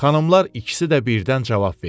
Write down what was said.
Xanımlar ikisi də birdən cavab verdi.